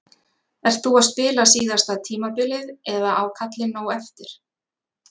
Ert þú að spila síðasta tímabilið eða á kallinn nóg eftir?